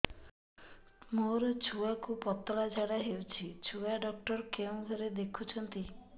ମୋର ଛୁଆକୁ ପତଳା ଝାଡ଼ା ହେଉଛି ଛୁଆ ଡକ୍ଟର କେଉଁ ଘରେ ଦେଖୁଛନ୍ତି